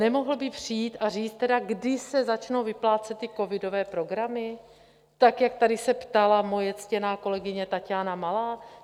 Nemohl by přijít a říct tedy, kdy se začnou vyplácet ty covidové programy, tak jak tady se ptala moje ctěná kolegyně Taťána Malá?